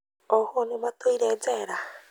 Ohũo nĩmatuire njera